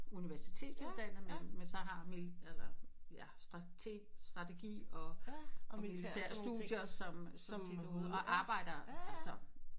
Universitetsuddannet men men så har han mili eller ja strateg strategi og militære studier som som arbejder altså